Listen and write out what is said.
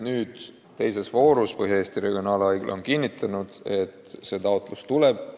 Nüüd ongi Põhja-Eesti Regionaalhaigla kinnitanud, et teises voorus see taotlus tuleb.